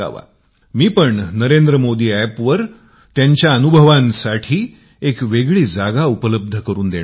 मी पण नरेंद्र मोदी एपवर त्यांच्या अनुभावासाठी एक वेगळी जागा उपलब्ध करून देणार आहे